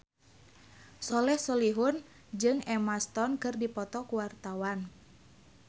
Soleh Solihun jeung Emma Stone keur dipoto ku wartawan